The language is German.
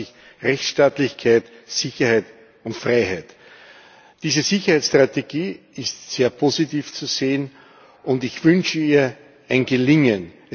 Sie erwarten sich Rechtsstaatlichkeit, Sicherheit und Freiheit. Diese Sicherheitsstrategie ist sehr positiv zu sehen, und ich wünsche ihr ein Gelingen.